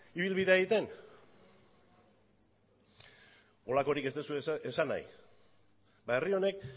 ibilbidea egiten horrelakorik ez duzue esan nahi ba herri honek